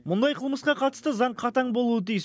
мұндай қылмысқа қатысты заң қатаң болуы тиіс